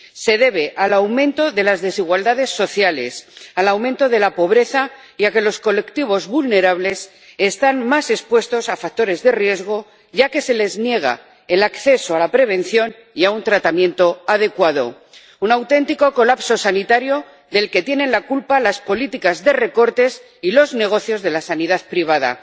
Se debe al aumento de las desigualdades sociales, al aumento de la pobreza y a que los colectivos vulnerables están más expuestos a factores de riesgo, ya que se les niega el acceso a la prevención y a un tratamiento adecuado, un auténtico colapso sanitario del que tienen la culpa las políticas de recortes y los negocios de la sanidad privada.